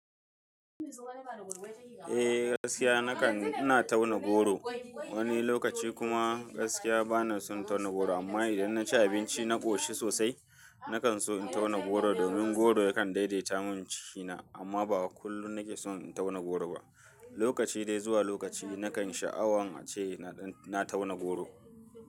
Eh gaskiya ina tauna goro wani lokaci kuma gaskiya bana son tauna goro amma idan na ci abinci na ƙoshi sosai. Na kan so in tauna goro domin goro yakan daidaita mun cikina amma ba kullum nake son in tauna goro ba. Lokaci dai zuwa lokaci na kan sha'awan ace na tauna goro.